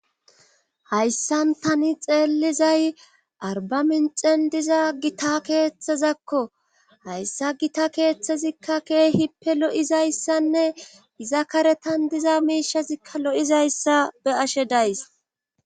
Hayssan tani xeellizay arba minxen diza gita keeththazakko hayssa gita keeththezikka keehippe lo7izayssanne iza karetan diza miishazikka lo7izayssa be7ashe days.